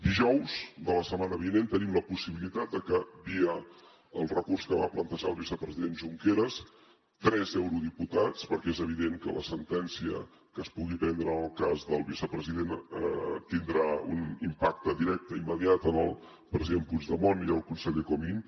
dijous de la setmana vinent tenim la possibilitat de que via el recurs que va plantejar el vicepresident junqueras tres eurodiputats perquè és evident que la sentència que es pugui prendre en el cas del vicepresident tindrà un impacte directe i immediat en els president puigdemont i el conseller comín